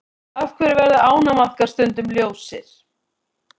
Af hverju verða ánamaðkar stundum ljósir?